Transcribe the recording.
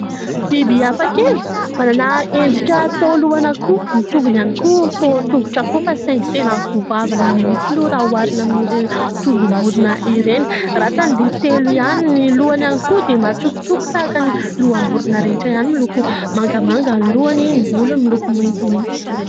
Biby hafa kely manana endrika toa lohana akoho ny tongony any koa toa tongotra akoho fa saingy teny goavana mihitsy aloha ra hoarina amin'ny ireny tongom-borina ireny ratsany dia telo ihany ny lohany any koa dia matsokontsoko tahaka ny loham-borina rehetra ihany miloko mangamanga ny lohany ny volo ny miloko maintimainty